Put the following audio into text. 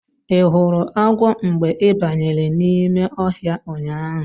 Ị hụrụ agwọ mgbe ị banyere n'ime ọhịa ụnyaahụ?